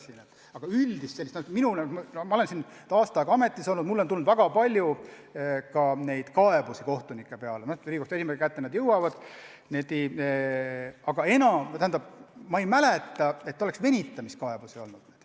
Mina olen nüüd aasta aega selles ametis olnud ja mulle on tulnud väga palju kaebusi kohtunike peale – need jõuavad Riigikohtu esimehe kätte –, aga ma ei mäleta, et oleks venitamiskaebusi olnud.